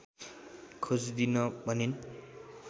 खोजिदिन भनिन्